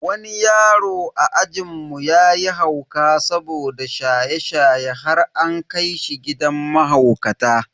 Wani yaro a ajinmu yayi hauka saboda shaye-shaye har an kai shi gidan mahaukata.